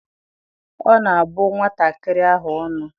Ọ na-abụ nwatakịrị ahụ ọnụ?